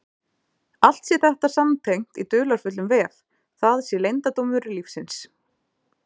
Allt sé þetta samtengt í dularfullum vef, það sé leyndardómur lífsins.